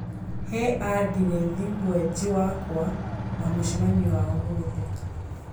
he andirethi mwenji wakwa wa mũcemanio wa ũmũthĩ